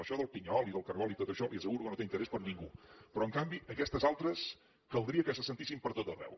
això del pinyol i del cargol i tot això li asseguro que no té interès per a ningú però en canvi aquestes altres caldria que se sentissin per tot arreu